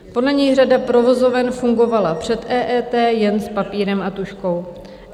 Podle něj řada provozoven fungovala před EET jen s papírem a tužkou.